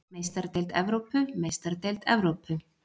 Meistaradeild Evrópu Meistaradeild Evrópu